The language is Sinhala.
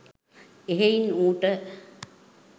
එහෙයින් ඌට